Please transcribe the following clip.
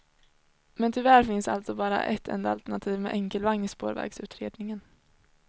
Men tyvärr finns alltså bara ett enda alternativ med enkelvagn i spårvägsutredningen.